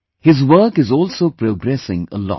His work is also progressing a lot